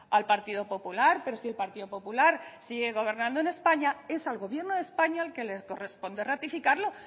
al partido popular pero si el partido popular sigue gobernando en españa es al gobierno de españa al que le corresponde ratificarlo